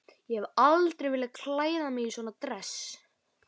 Ég hef aldrei viljað klæða mig í svona dress.